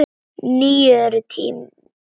Nú eru nýir tímar.